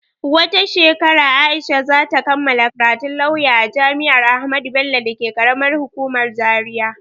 Wata shekara Aisha za ta kammala karatun lauya a jami'ar Ahmadu Bello dake ƙaramar hukuman Zaria.